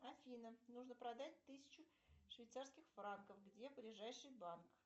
афина нужно продать тысячу швейцарских франков где ближайший банк